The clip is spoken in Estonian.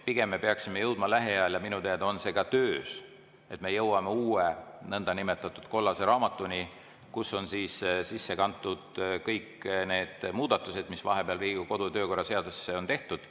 Pigem me peaksime jõudma lähiajal – minu teada on see ka töös – uue nõndanimetatud kollase raamatuni, kuhu on sisse kantud kõik need muudatused, mis vahepeal Riigikogu kodu‑ ja töökorra seadusesse on tehtud.